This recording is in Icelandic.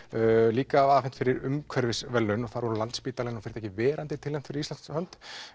líka afhent fyrir umhverfisverðlaun en það voru Landsspítalinn og verandi tilnefnd fyrir Íslands hönd